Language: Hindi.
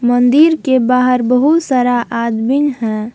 मंदिर के बाहर बहुत सारा आदमीन है।